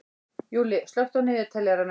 Júlli, slökktu á niðurteljaranum.